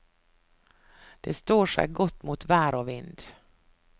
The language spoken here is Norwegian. Det står seg godt mot vær og vind.